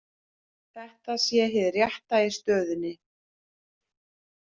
Þetta sé hið rétta í stöðunni